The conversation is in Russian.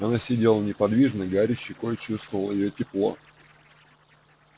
она сидела неподвижно гарри щекой чувствовал её тепло